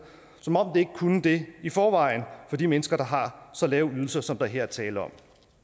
ikke kunne det i forvejen for de mennesker der har så lave ydelser som der her er tale om